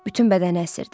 Bütün bədəni əsirdi.